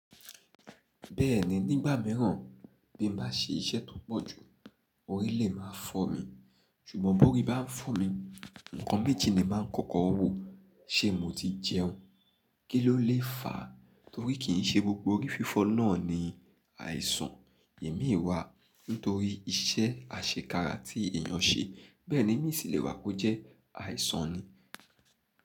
Bẹ́ẹ̀ni, nígbà míràn bí mo bá se iṣẹ́ tó pọ̀ jù, orí lè máa fọ́ mi. Ṣùgbọ́n bóri bá ń fọ́ mi, ǹkan méjì ni mà ń kọ́kọ́ wò. Ṣé mo ti jẹun? Kí ló lè fà á? Tori kì se gbogbo orí fífó na ni ìsà imii wà nítorí iṣẹ́ àṣekára tí èyàn ṣe, bẹ́ẹ̀ ni imii sì lè wà kó jẹ́ àìsàn ni.